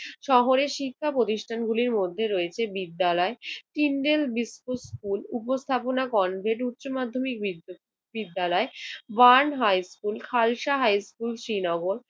শহরের শিক্ষা প্রতিষ্ঠানগুলির মধ্যে রয়েছে বিদ্যালয়, কিন্ডেল বিস্ক স্কুল, উপস্থাপনা কনভের উচ্চ মাধ্যমিক বিদ্যা~বিদ্যালয়, Burn high school, Khalsa high school Srinagar